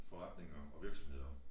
Forretninger og virksomheder